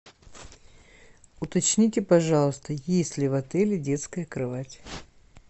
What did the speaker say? уточните пожалуйста есть ли в отеле детская кровать